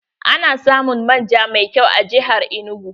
Ana samun manja mai kyau a jihar Enugu.